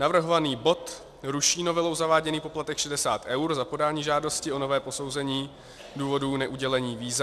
Navrhovaný bod ruší novelou zaváděný poplatek 60 eur za podání žádosti o nové posouzení důvodů neudělení víza.